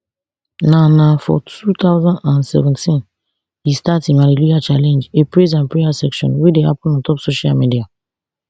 na na for two thousand and seventeen e start im hallelujah challenge a praise and prayer session wey dey happun ontop social media